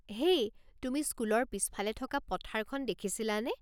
হেই, তুমি স্কুলৰ পিছফালে থকা পথাৰখন দেখিছিলানে?